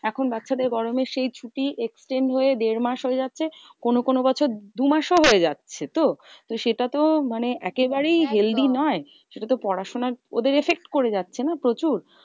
এখন বাচ্চাদের গরমের সেই ছুটি extend হয়ে দেড় মাস হয়ে যাচ্ছে। কোনো কোনো বছর দু মাসও হয়ে যাচ্ছে তো? তো সেটা তো মানে একেবারেই healthy নয়। সেটা তো পড়াশোনায় ওদের effect করে যাচ্ছে না প্রচুর?